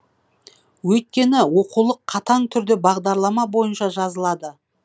өйткені оқулық қатаң түрде бағдарлама бойынша жазылады